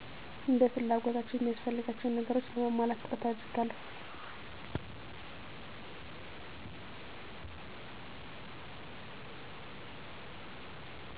እንደፍላጎታቸው የሚያስፈልጋቸውን ነገሮች ለማሟላት ጥረት አደረጋለሁ